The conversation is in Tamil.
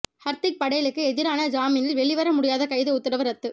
ஹர்திக் படேலுக்கு எதிரான ஜாமீனில் வெளிவர முடியாத கைது உத்தரவு ரத்து